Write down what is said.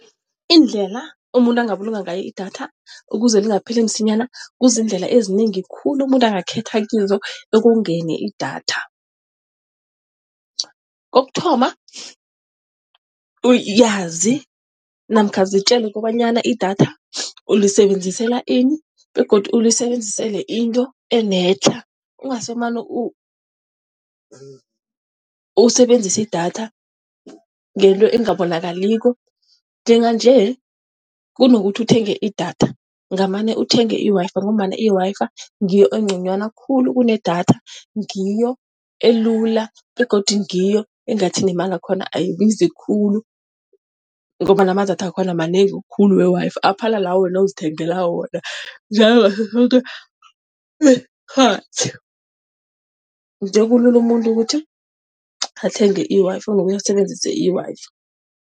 Indlela umuntu angabulunga ngayo i-data ukuze lingapheli msinyana kuzindlela ezinengi khulu, umuntu angakhetha kizo ekongeni idatha. Kokuthoma, yazi namkha zitjele kobanyana i-data ulisebenzisela ini begodu ulisebenzisele into enetlha, ungasimane usebenzisa idatha ngento engabonakali. Njenganje kunokuthi uthenge idatha ngamane uthenge i-Wi-Fi ngombana i-Wi-Fi ngiyo engconywana khulu kunedatha, ngiyo elula begodu ngiyo engathi nemali yakhona ayibizi khulu ngombana amadatha wakhona manengi khulu we-i-Wi-Fi aphala la, wena ozithengela wona, nje kulula umuntu ukuthi athenge i-Wi-Fi ngosebenzisa i-Wi-Fi.